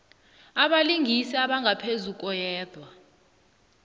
abalingani abangaphezu koyedwa